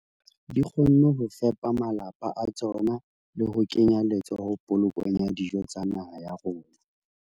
Di kgonne ho fepa malapa a tsona le ho kenya letsoho polokong ya dijo tsa naha ya rona.